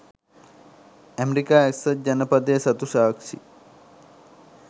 ඇමෙරිකා එක්සත් ජනපදය සතු සාක්‍ෂි